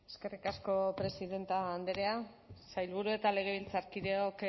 eskerrik asko presidenta andrea sailburua eta legebiltzarkideok